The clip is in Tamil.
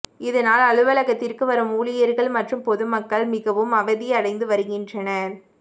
இதனால் அலுவலகத்திற்கு வரும் ஊழியா்கள் மற்றும் பொதுமக்கள் மிகவும் அவதி அடைந்து வருகின்றனா்